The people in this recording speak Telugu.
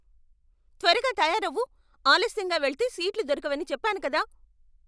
త్వరగా తయారవు! ఆలస్యంగా వెళితే సీట్లు దొరకవని చెప్పాను కదా.